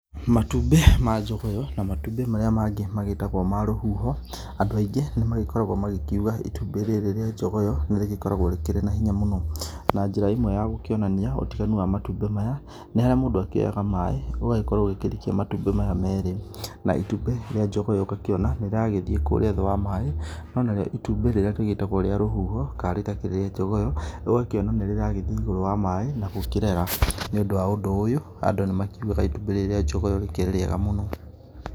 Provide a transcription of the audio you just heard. Matumbĩ ma jogoyo na matũmbĩ marĩa mangĩ magĩtagwo ma rũhuho, andũ aingĩ nĩ magĩkoragwo magĩkiuga itũmbĩ rĩrĩ rĩa jogoyo nĩ rĩgĩkoragwo rĩkĩrĩ na hinya mũno, na njĩra ĩmwe ya gũkĩonania ũtiganu wa matumbĩ maya, nĩharĩa mũndũ akĩoyaga maĩ, ũgagĩkorwo ũkĩrikia matũmbĩ maya merĩ, na itumbĩ rĩa jogoyo ngakĩona nĩ rĩragĩthiĩ kũrĩa thĩ wa maĩ, no nario itumbĩ rĩrĩa rĩgĩtagwo rwa rũhuho kana rĩrĩa rĩtakĩrĩ rĩa jogoyo ũgakĩona nĩ rĩragĩthiĩ igũrũ rĩa maĩ na gũkĩrera, nĩ ũndũ wa ũndũ ũyũ andũ nĩ makiugaga itumbĩ rĩrĩ rĩa jogoyo rĩkĩrĩ rĩega mũno.